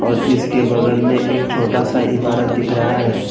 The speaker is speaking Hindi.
इसके बगल में एक छोटा सा इमारत दिख रहा है।